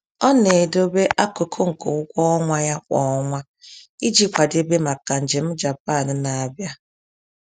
Ọ na-edobe akụkụ nke ụgwọ ọnwa ya kwa ọnwa iji kwadebe maka njem Japan na-abịa